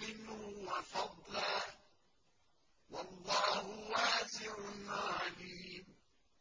مِّنْهُ وَفَضْلًا ۗ وَاللَّهُ وَاسِعٌ عَلِيمٌ